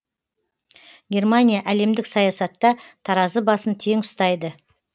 германия әлемдік саясатта таразы басын тең ұстайды